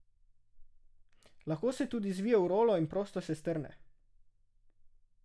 Lahko se tudi zvije v rolo in prostor se strne.